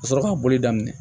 Ka sɔrɔ ka boli daminɛ